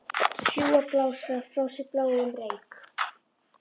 Sjúga og blása frá sér bláum reyk.